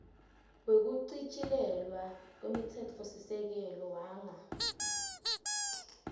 wekuchitjilelwa kwemtsetfosisekelo wanga